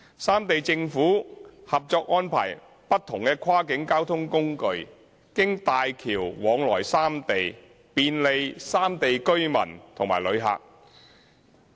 三地政府合作安排不同跨境交通工具經大橋往來三地，便利有不同交通需要的旅客。